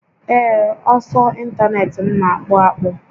Ee, ọsọ ịntanetị m na akpụ akpụ